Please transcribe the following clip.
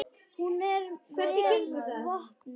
Hún er vel vopnum búin.